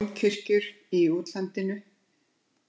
Dómkirkjur í útlandinu